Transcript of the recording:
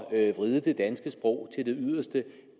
er at vride det danske sprog til det yderste